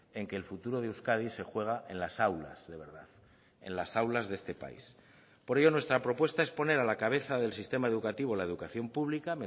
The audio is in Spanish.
en que el futuro de euskadi se juega en las aulas de verdad en las aulas de este país por ello nuestra propuesta es poner a la cabeza del sistema educativo la educación pública